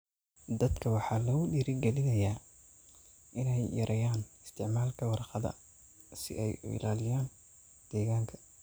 Dadka waxaa lagu dhiirigelinayaa inay yareeyaan isticmaalka warqadda si ay u ilaaliyaan deegaanka.